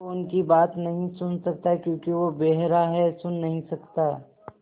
वो उनकी बात नहीं सुन सकता क्योंकि वो बेहरा है सुन नहीं सकता